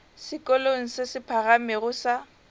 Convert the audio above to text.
sekolong se se phagamego sa